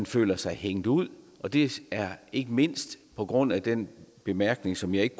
føler sig hængt ud og det er ikke mindst på grund af den bemærkning som jeg ikke